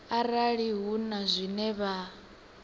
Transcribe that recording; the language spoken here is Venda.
arali hu na zwine vha